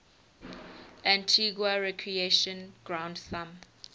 antigua recreation ground thumb